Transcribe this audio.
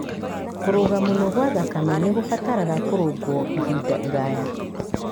Kũrũga mũno kwa thakame nĩ kũbataraga kũrũngwo ihinda iraya.